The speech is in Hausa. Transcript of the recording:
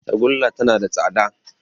Tagulla tana da tsada